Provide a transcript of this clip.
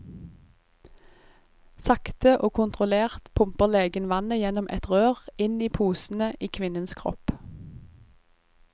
Sakte og kontrollert pumper legen vannet gjennom et rør inn i posene i kvinnens kropp.